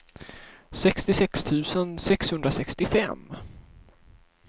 sextiosex tusen sexhundrasextiofem